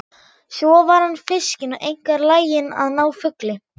Svo var hann fiskinn og einkar laginn að ná fugli.